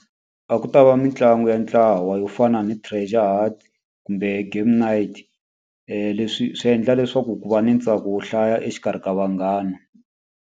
A ku ta va mitlangu ya ntlawa yo fana ni treasure hunt kumbe game night. Leswi swi endla leswaku ku va na ntsako wo hlaya exikarhi ka vanghana.